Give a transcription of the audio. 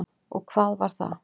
Og hvað var það?